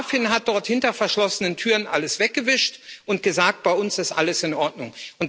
Die BaFin hat dort hinter verschlossenen Türen alles weggewischt und gesagt Bei uns ist alles in Ordnung.